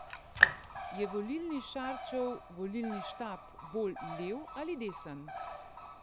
Je volilni Šarčev volilni štab bolj lev ali desen?